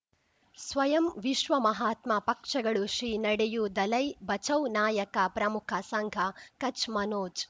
ಸ್ವಯಂ ವಿಶ್ವ ಮಹಾತ್ಮ ಪಕ್ಷಗಳು ಶ್ರೀ ನಡೆಯೂ ದಲೈ ಬಚೌ ನಾಯಕ ಪ್ರಮುಖ ಸಂಘ ಕಚ್ ಮನೋಜ್